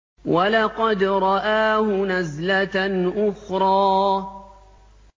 وَلَقَدْ رَآهُ نَزْلَةً أُخْرَىٰ